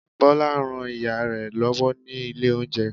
bola rán ìyare lòwó ní ilé oúnjẹ